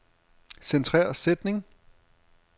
Centrer sætning.